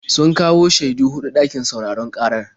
Sun kawo shaidu huɗu ɗakin sauraron ƙarar.